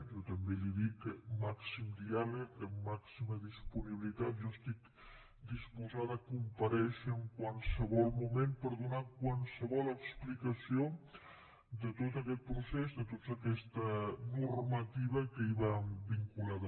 jo també li dic que amb màxim diàleg amb màxima disponibilitat jo estic disposada a comparèixer en qualsevol moment per donar qualsevol explicació de tot aquest procés de tota aquesta normativa que hi va vinculada